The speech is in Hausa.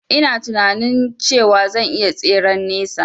Ina tinanin cewa zan iya tseren nesa